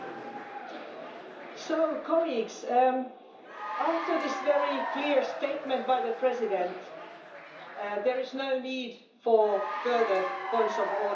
Colleagues, after this very clear statement by the President, there is no need for further points of order or the like on the matter.